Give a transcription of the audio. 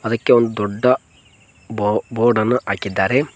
ಅದಕ್ಕೆ ಒಂದು ದೊಡ್ಡ ಬೋ ಬೋರ್ಡ ನ್ನು ಹಾಕಿದ್ದಾರೆ.